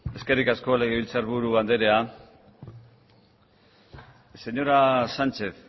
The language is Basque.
eskerrik asko legebiltzarburu anderea señora sánchez